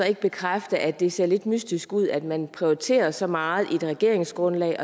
ikke bekræfte at det ser lidt mystisk ud at man prioriterer det så meget i et regeringsgrundlag